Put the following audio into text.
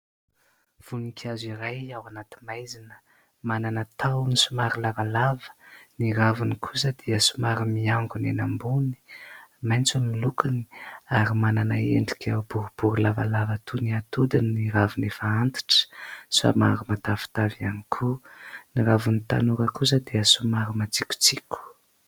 Voninkazo iray ao anaty maizina, manana tahony somary lavalava. Ny raviny kosa dia somary miangona eny ambony. Maitso ny lokony ary manana endrika boribory lavalava toy ny atody ny raviny efa antitra. Somary matavitavy ihany koa. Ny raviny tanora kosa dia somary matsikotsiko.